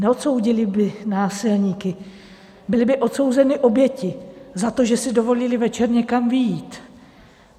Neodsoudili by násilníky, byly by odsouzeny oběti za to, že si dovolily večer někam vyjít.